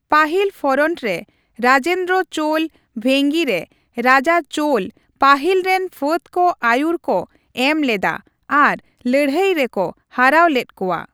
ᱯᱟᱹᱦᱤᱞ ᱯᱷᱚᱨᱚᱱᱴ ᱨᱮ, ᱨᱟᱡᱮᱱᱫᱨᱚ ᱪᱳᱞ ᱵᱷᱮᱝᱜᱤ ᱨᱮ ᱨᱟᱡᱟ ᱪᱳᱞ ᱯᱟᱹᱦᱤᱞ ᱨᱮᱱ ᱯᱷᱟᱹᱫᱽ ᱠᱚ ᱟᱹᱭᱩᱨ ᱠᱚ ᱮᱢ ᱞᱮᱫᱟ ᱟᱨ ᱞᱟᱹᱲᱦᱟᱹᱭ ᱨᱮᱠᱚ ᱦᱟᱨᱟᱹᱣ ᱞᱮᱫ ᱠᱚᱣᱟ ᱾